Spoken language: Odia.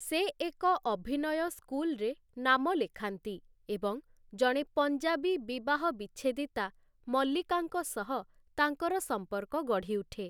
ସେ ଏକ ଅଭିନୟ ସ୍କୁଲ୍‌ରେ ନାମ ଲେଖାନ୍ତି ଏବଂ ଜଣେ ପଞ୍ଜାବୀ ବିବାହ ବିଚ୍ଛେଦିତା, ମଲ୍ଲିକାଙ୍କ ସହ ତାଙ୍କର ସମ୍ପର୍କ ଗଢ଼ିଉଠେ ।